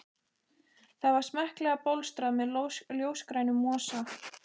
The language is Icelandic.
Það var smekklega bólstrað með ljósgrænum mosa.